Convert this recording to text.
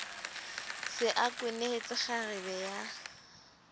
se a kwenehetse kgarebe ya